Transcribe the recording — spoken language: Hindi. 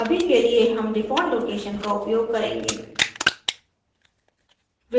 अभी के लिए हम default location स्थान का उपयोग करेंगे